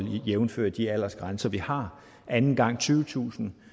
jævnfør de aldersgrænser vi har anden gang tyvetusind